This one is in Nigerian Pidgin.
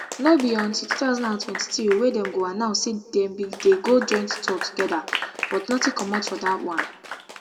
no be until two thousand and twenty-three wey dem go announce say dem bin dey go joint tour togeda but nothing comot from dat one